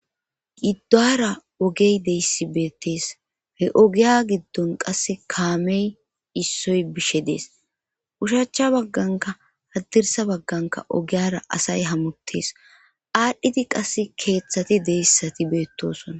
Giddaara ogey deyssi beettees he ogiya giddon qasse kaamey issoy bishe dees ushachcha bagganka haddirsa bagganka ogiyara asay hamutees aadhdhiti qas keeththati deyssati beettosona.